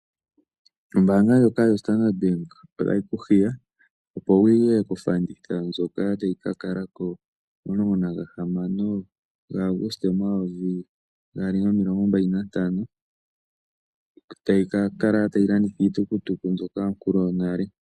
Ombaanga ndjoka yoStandard Bank otayi ku hiya, opo wu ye kofanditha ndjoka tayi ka kala ko 16 Auguaste 2025, tayi ka kala tayi landitha iitukutuku mbyoka yonkulu yonale.